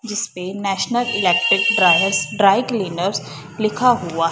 जिसपे national electric dryers dry cleaners लिखा हुआ--